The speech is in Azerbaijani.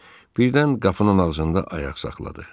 Birdən qapının ağzında ayaq saxladı.